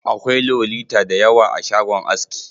Akwai Lolita da yawa a shagon aski.